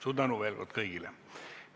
Suur tänu veel kord kõigile!